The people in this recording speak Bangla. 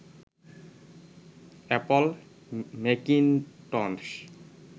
Apple Macintosh